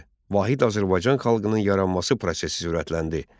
Vahid Azərbaycan xalqının yaranması prosesi sürətləndi.